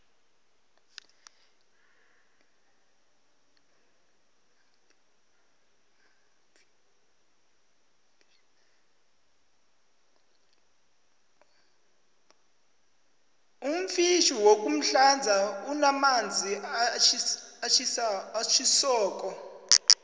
umfjhini woku hlanza unamanzi atjhisoko